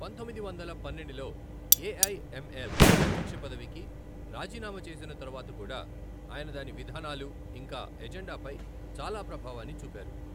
పంతొమ్మిది వందల పన్నెండులో ఎఐఎంఎల్ అధ్యక్ష పదవికి రాజీనామా చేసిన తరువాత కూడా, ఆయన దాని విధానాలు, ఇంకా ఎజెండాపై చాలా ప్రభావాన్ని చూపారు.